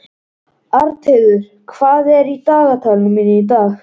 Arnheiður, hvað er í dagatalinu mínu í dag?